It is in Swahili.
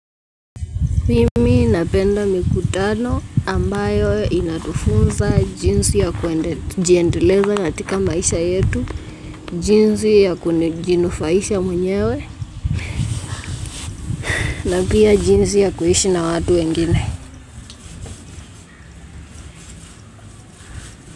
Mimi napenda mikutano ambayo inatufunza jinsi ya kujiendeleza katika maisha yetu, jinsi ya kujinufaisha mwenyewe na pia jinsi ya kuishi na watu wengine.